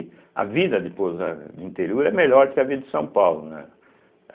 A vida de Pouso eh do interior, é melhor do que a vida de São Paulo, né?